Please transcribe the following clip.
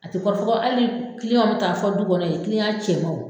A ti kɔrɔfɔ kɔ ali kiliyanw bi taa fɔ du kɔnɔ ye kiliyan cɛmanw